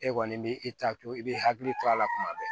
E kɔni b'i ta to i b'i hakili to a la tuma bɛɛ